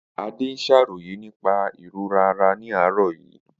Ade ṣàròyé nípa ìrora ara ní àárọ̀ yìí.